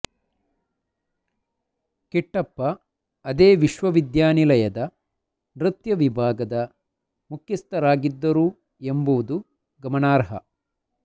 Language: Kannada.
ಕಿಟ್ಟಪ್ಪ ಅದೇ ವಿಶ್ವವಿದ್ಯಾನಿಲಯದ ನೃತ್ಯ ವಿಭಾಗದ ಮುಖ್ಯಸ್ಥರಾಗಿದ್ದರೂ ಎಂಬುದು ಗಮನಾರ್ಹ